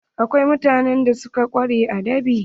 Akwai mutanen da suka ƙware a dab'i.